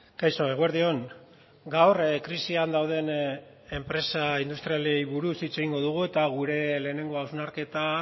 kaixo eguerdi on gaur krisian dauden enpresa industrialei buruz hitz egingo dugu eta gure lehenengo hausnarketa